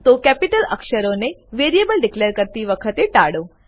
તો કેપિટલ અક્ષરોને variable declare કરતી વખતે ટાળો